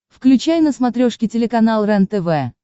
включай на смотрешке телеканал рентв